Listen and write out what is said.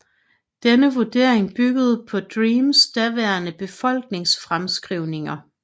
Denne vurdering byggede på DREAMs daværende befolkningsfremskrivninger